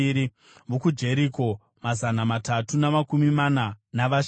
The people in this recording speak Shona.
vokuJeriko, mazana matatu namakumi mana navashanu;